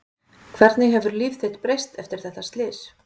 Hvernig hefur líf þitt breyst eftir þetta slys?